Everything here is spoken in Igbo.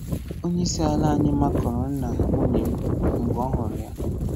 Onyeisi ala anyị makụrụ nna nwunye m mgbe ọ hụrụ ya.